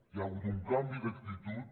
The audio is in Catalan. hi ha hagut un canvi d’actitud